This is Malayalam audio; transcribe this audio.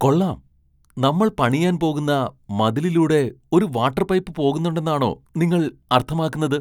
കൊള്ളാം, നമ്മൾ പണിയാൻ പോകുന്ന മതിലിലൂടെ ഒരു വാട്ടർ പൈപ്പ് പോകുന്നുണ്ടെന്നാണോ നിങ്ങൾ അർത്ഥമാക്കുന്നത്?